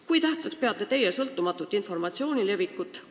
Kui tähtsaks peate teie sõltumatu informatsiooni levitamist?